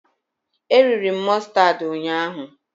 E riri m mụstardị ụnyaahụ